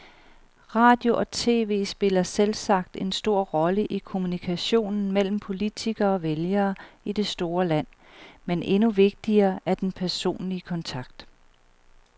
Radio og tv spiller selvsagt en stor rolle i kommunikationen mellem politikere og vælgere i det store land, men endnu vigtigere er den personlige kontakt.